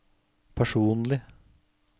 personlig